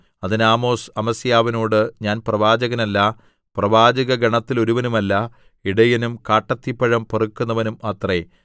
അതിന് ആമോസ് അമസ്യാവിനോട് ഞാൻ പ്രവാചകനല്ല പ്രവാചക ഗണത്തിലൊരുവനുമല്ല ഇടയനും കാട്ടത്തിപ്പഴം പെറുക്കുന്നവനും അത്രേ